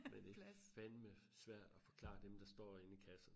Men det fandme svært at forklare dem der står inde i kassen